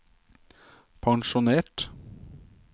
pensjonert